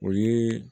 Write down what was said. O ye